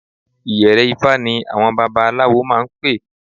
Ìyẹ̀rẹ̀-ifá ni àwọn babaláwo máa ń pè